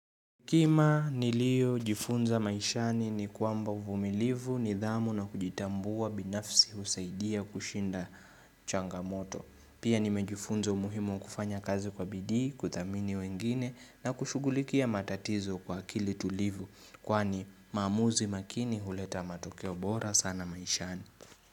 Kima niliyojifunza maishani ni kwamba uvumilivu nidhamu na kujitambua binafsi husaidia kushinda changamoto. Pia nimejifunza umuhimu wa kufanya kazi kwa bidii, kuthamini wengine na kushughulikia matatizo kwa akili tulivu. Kwani maamuzi makini huleta matokeo bora sana maishani.